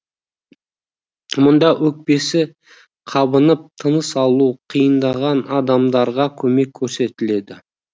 мұнда өкпесі қабынып тыныс алуы қиындаған адамдарға көмек көрсетіледі